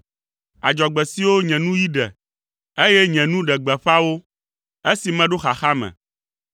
adzɔgbe siwo nye nuyi ɖe, eye nye nu ɖe gbeƒã wo, esi meɖo xaxa me.